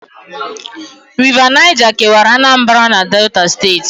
River Niger kewara Anambra na Delta steeti